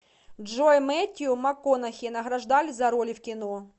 джой мэттью макконахи награждали за роли в кино